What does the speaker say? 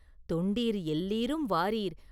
தொண்டீர் எல்லீரும் வாரீர்!